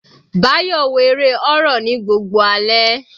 Bayo wo eré horror ní gbogbo alẹ́.